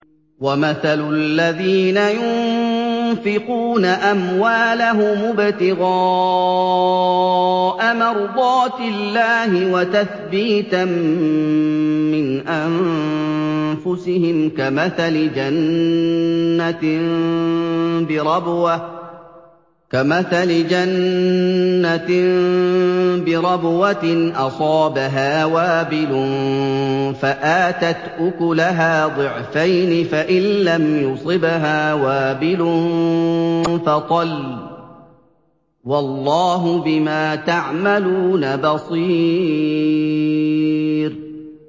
وَمَثَلُ الَّذِينَ يُنفِقُونَ أَمْوَالَهُمُ ابْتِغَاءَ مَرْضَاتِ اللَّهِ وَتَثْبِيتًا مِّنْ أَنفُسِهِمْ كَمَثَلِ جَنَّةٍ بِرَبْوَةٍ أَصَابَهَا وَابِلٌ فَآتَتْ أُكُلَهَا ضِعْفَيْنِ فَإِن لَّمْ يُصِبْهَا وَابِلٌ فَطَلٌّ ۗ وَاللَّهُ بِمَا تَعْمَلُونَ بَصِيرٌ